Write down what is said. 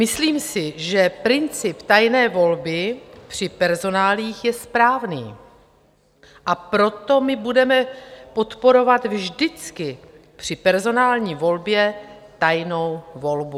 "Myslím si, že princip tajné volby při personáliích je správný, a proto my budeme podporovat vždycky při personální volbě tajnou volbu.